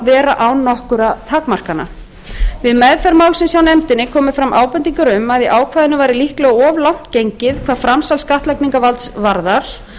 vera án nokkurra takmarkana við meðferð málsins hjá nefndinni komu fram ábendingar um að í ákvæðinu væri líklega gengið of langt hvað framsal skattlagningarvalds varðar